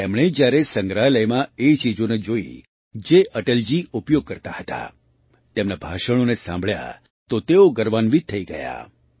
તેમણે જ્યારે સંગ્રહાલયમાં એ ચીજોને જોઈ જે અટલજી ઉપયોગ કરતા હતા તેમનાં ભાષણોને સાંભળ્યાં તો તેઓ ગર્વાન્વિત થઈ ગયા